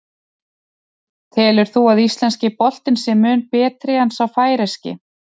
Telur þú að íslenski boltinn sé mun betri en sá færeyski?